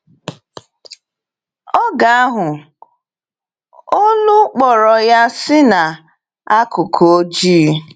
Oge ahụ, olu kpọrọ ya si n’akụkụ ọjị.